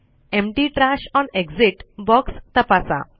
empty trash on exit box तपासा